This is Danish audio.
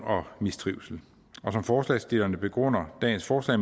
og mistrivsel som forslagsstillerne begrunder dagens forslag